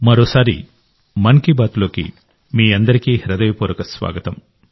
మరోసారి మన్ కీ బాత్లోకి మీ అందరికీ హృదయపూర్వక స్వాగతం